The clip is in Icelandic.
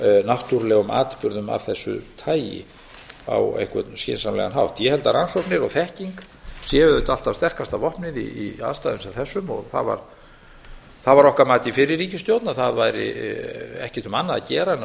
náttúrulegum atburðum af þessu tagi á einhvern skynsamlegan hátt ég held að rannsóknir og þekking séu auðvitað alltaf sterkasta vopnið í aðstæðum sem þessum og það var okkar mat í fyrri ríkisstjórn að það væri ekkert um annað að gera en að